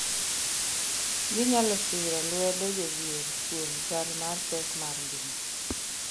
ginyalo siro lwedo jodhier kuom chal mar pek mar ngima